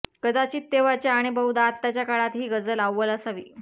कदाचित तेव्हाच्या आणि बहुधा आत्ताच्या काळात ही गझल अव्वल असावी